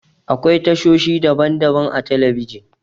Akwai tashoshi daban-daban a telebijin.